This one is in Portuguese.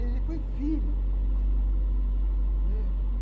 Ele foi filho, né.